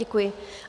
Děkuji.